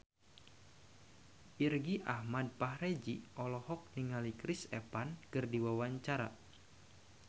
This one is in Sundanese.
Irgi Ahmad Fahrezi olohok ningali Chris Evans keur diwawancara